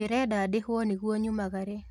Ndĩrenda ndĩhwo nĩguo nyumagare